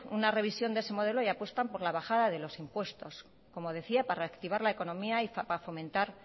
una revisión de ese modelo y apuestan por la bajada de los impuestos como decía para reactivar la economía y para fomentar